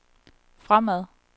fremad